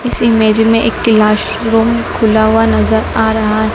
इस इमेज में एक क्लास रूम खुला हुआ नजर आ रहा--